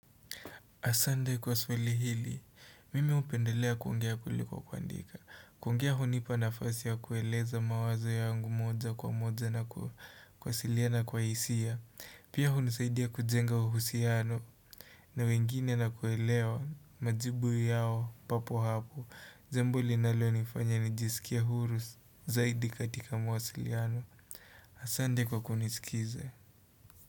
Asande kwa swali hili, mimi hupendelea kuongea kuliko kwa kuandika. Kuongea hunipa nafasi ya kueleza mawazo yangu moja kwa moja na kuwasiliana kwa hisia. Pia hunisaidia kujenga uhusiano na wengine na kuelewa majibu yao papo hapo. Jambo linalo nifanya nijisikia huru zaidi katika mawasiliano. Asande kwa kunisikiza.